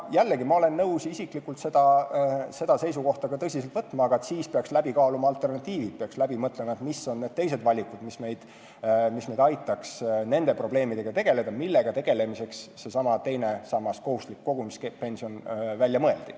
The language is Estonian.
Jällegi, ma olen nõus seda seisukohta tõsiselt võtma, aga siis peaks kaaluma alternatiive, peaks läbi mõtlema, millised on teised valikud, mis aitaks meil tegeleda nende probleemidega, mille lahendamiseks seesama teine sammas ehk kohustuslik kogumispension välja mõeldi.